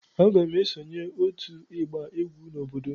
Aga m esonye otu ịgba egwu n'obodo m.